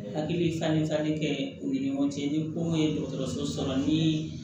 Hakili falen falenli kɛ u ni ɲɔgɔn cɛ ni kow ye dɔgɔtɔrɔso sɔrɔ ni